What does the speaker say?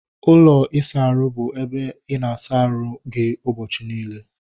Ụlọ isa ahụ bụ ebe ị na-asa ahu gị ụbọchị niile